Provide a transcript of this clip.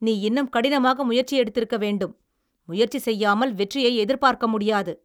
நீ இன்னும் கடினமாக முயற்சி எடுத்திருக்க வேண்டும். முயற்சி செய்யாமல் வெற்றியை எதிர்பார்க்க முடியாது.